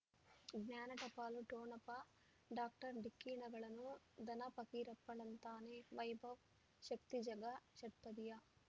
ಜ್ಞಾನ ಟಪಾಲು ಠೊಣಪ ಡಾಕ್ಟರ್ ಢಿಕ್ಕಿ ಣಗಳನು ಧನ ಫಕೀರಪ್ಪ ಳಂತಾನೆ ವೈಭವ್ ಶಕ್ತಿ ಝಗಾ ಷಟ್ಪದಿಯ